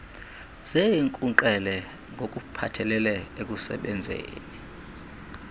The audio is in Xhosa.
zeenkunkqele ngokuphathelele ekusebenzeni